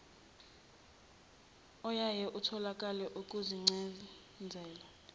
oyaye utholakale kuzincazelo